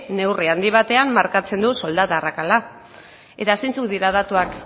neurri handi batean markatzen du soldata arrakala eta zeintzuk dira datuak